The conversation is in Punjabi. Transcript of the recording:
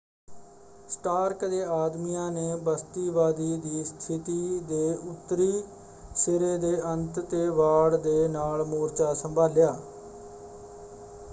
ਸਟਾਰਕ ਦੇ ਆਦਮੀਆਂ ਨੇ ਬਸਤੀਵਾਦੀ ਦੀ ਸਥਿਤੀ ਦੇ ਉੱਤਰੀ ਸਿਰੇ ਦੇ ਅੰਤ 'ਤੇ ਵਾੜ ਦੇ ਨਾਲ ਮੋਰਚਾ ਸੰਭਾਲਿਆ।